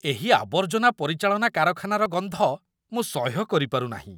ଏହି ଆବର୍ଜନା ପରିଚାଳନା କାରଖାନାର ଗନ୍ଧ ମୁଁ ସହ୍ୟ କରିପାରୁ ନାହିଁ।